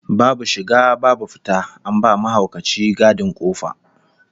Babu shiga babu fita, an ba mahaukaci gadin kofa